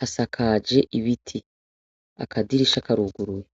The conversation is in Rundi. hasakaje ibiti, akadirisha karuguruye.